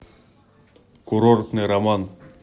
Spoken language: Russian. курортный роман